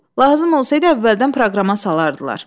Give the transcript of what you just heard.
Lazım olsaydı, əvvəldən proqrama salardılar.